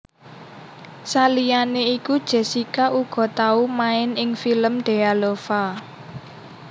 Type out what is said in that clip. Saliyané iku Jessica uga tau main ing film Dealova